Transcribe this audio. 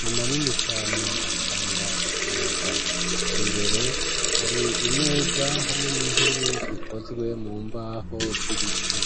ni manini cane, atanga umuyaga; imbere, hari imeza, hamwe n'intebe, zikozwe mu mbaho, z'ibiti.